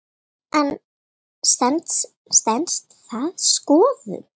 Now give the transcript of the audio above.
En stenst það skoðun?